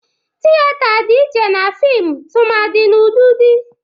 Tiyeta dị iche na fịmụ tụmadị n'ụdịdị.